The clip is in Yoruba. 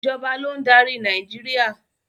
Ìjọba ló ń darí Nàìjíríà.